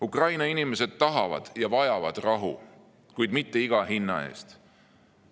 Ukraina inimesed tahavad ja vajavad rahu, kuid mitte iga hinna eest.